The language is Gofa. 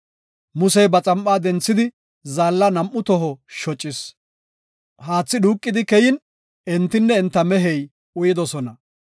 Musey ba xam7a denthidi zaalla nam7u toho shocis; haathi dhuuqidi keyin entinne enta meheti uyidosona.